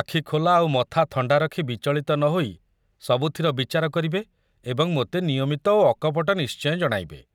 ଆଖୁ ଖୋଲା ଆଉ ମଥା ଥଣ୍ଡା ରଖି ବିଚଳିତ ନ ହୋଇ ସବୁଥର ବିଚାର କରିବେ ଏବଂ ମୋତେ ନିୟମିତ ଓ ଅକପଟ ନିଶ୍ଚୟ ଜଣାଇବେ।